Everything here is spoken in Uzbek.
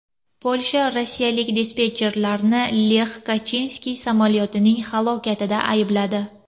Polsha rossiyalik dispetcherlarni Lex Kachinskiy samolyotining falokatida aybladi.